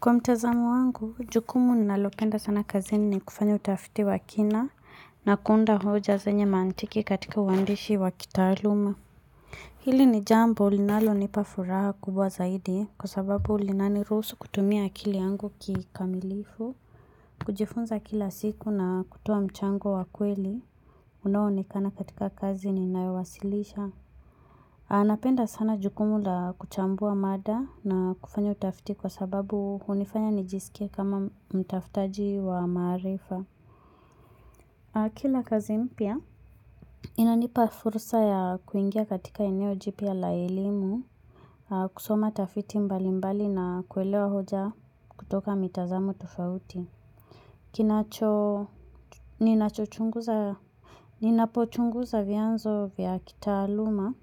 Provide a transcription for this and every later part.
Kwa mtazamo wangu, jukumu ninalopenda sana kazini ni kufanya utafiti wa kina na kuunda hoja zenye mantiki katika uwandishi wa kitaaluma. Hili ni jambo linalonipafuraha kubwa zaidi kwa sababu linaniruhusu kutumia akili yangu kikamilifu. Kujifunza kila siku na kutoa mchango wa kweli unaoonekana katika kazi ninayowasilisha. Aa napenda sana jukumu la kuchambua mada na kufanya utafiti kwa sababu hunifanya nijisikie kama mtaftaji wa maarifa. Kila kazi mpya, inanipa fursa ya kuingia katika eneo jipya la elimu, kusoma tafiti mbalimbali na kuelewa hoja kutoka mitazamo tofauti. Kinacho, ninachochunguza, ninapochunguza vyanzo vya kitaaluma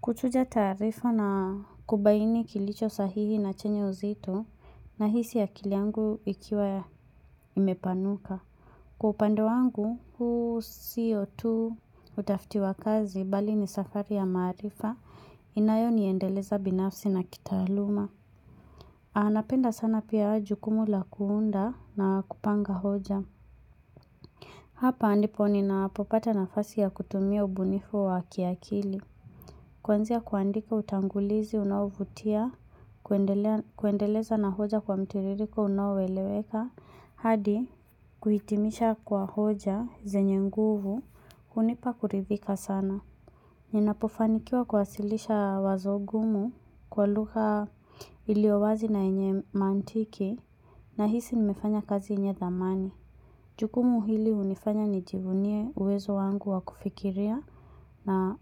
Kuchuja taarifa na kubaini kilicho sahihi na chenye uzito nahisi akili yangu ikiwa imepanuka. Kwa upande wangu, huu sio tu utafiti wa kazi bali ni safari ya maarifa inayoniendeleza binafsi na kitaaluma. Aa napenda sana pia jukumu la kuunda na kupanga hoja. Hapa ndipo ninapopata nafasi ya kutumia ubunifu wa kiakili. Kwanzia kuandika utangulizi unaovutia, kuendeleza na hoja kwa mtiririko unaoweleweka. Hadi kuhitimisha kwa hoja zenye nguvu, hunipa kuridhika sana. Ninapofanikiwa kuwasilisha wazo gumu kwa lugha iliowazi na yenye mantiki nahisi nimefanya kazi yenye thamani. Jukumu hili hunifanya nijivunie uwezo wangu wa kufikiria na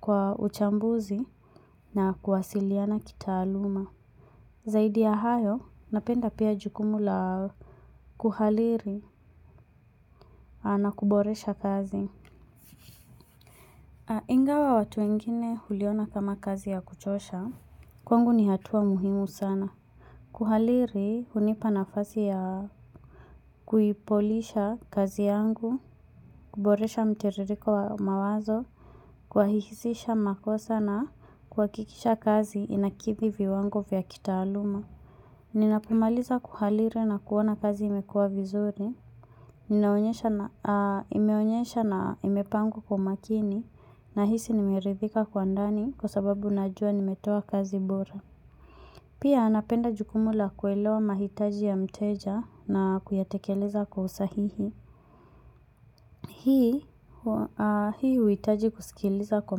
kwa uchambuzi na kuwasiliana kitaaluma. Zaidi ya hayo, napenda pia jukumu la kuhaliri na kuboresha kazi. Ingawa watu wengine huliona kama kazi ya kuchosha, kwangu ni hatua muhimu sana. Kuhaliri hunipa nafasi ya kuipolisha kazi yangu, kuboresha mtiririko wa mawazo, kuwahihisisha makosa na kuhakikisha kazi inakithi viwango vya kitaaluma. Ninapomaliza kuhaliri na kuona kazi imekua vizuri imeonyesha na imepangwa kwa makini. Nahisi nimerithika kwa ndani kwa sababu najua nimetoa kazi bora. Pia napenda jukumu la kuelewa mahitaji ya mteja na kuyatekeleza kwa usahihi. Hii huhitaji kusikiliza kwa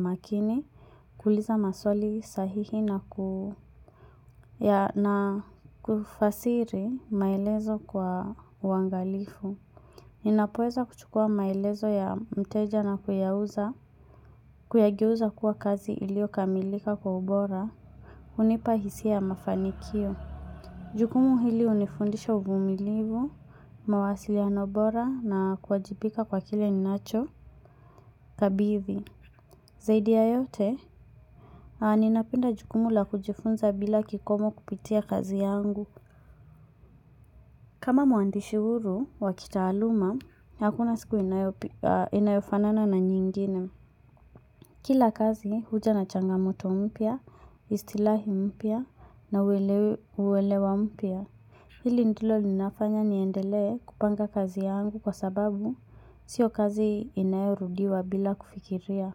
makini. Kuuliza maswali sahihi na kufasiri maelezo kwa uwangalifu. Ninapoeza kuchukua maelezo ya mteja na kuyageuza kuwa kazi ilio kamilika kwa ubora hunipa hisia ya mafanikio. Jukumu hili hunifundisha uvumilivu mawasiliano bora na kuwajipika kwa kile ninacho kabithi. Zaidi ya yote, ninapenda jukumu la kujifunza bila kikomo kupitia kazi yangu. Kama mwandishi huru wa kitaaluma, hakuna siku inayofanana na nyingine. Kila kazi, huja na changamoto mpya, istilahi umpya na uwelewa mpya. Hili ndilo linafanya niendelee kupanga kazi yangu kwa sababu sio kazi inayorudiwa bila kufikiria.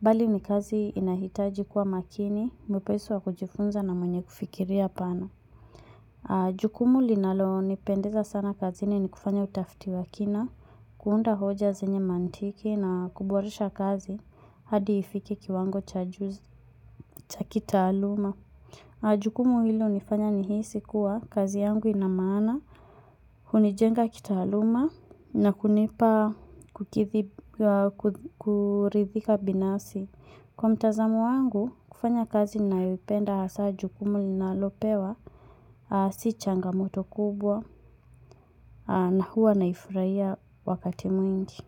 Bali ni kazi inahitaji kuwa makini, mwepesi wa kujifunza na mwenye kufikiria pana. Jukumu linalonipendeza sana kazini ni kufanya utafiti wa kina, kuunda hoja zenye mantiki na kuboresha kazi hadi ifike kiwango cha kitaaluma. Jukumu hili hunifanya nihisi kuwa kazi yangu ina maana, hunijenga kitaaluma na kunipa kurithika binafsi. Kwa mtazamo wangu, kufanya kazi ninayoipenda hasaa jukumu ninalopewa, si changamoto kubwa na huwa naifuraia wakati mwingi.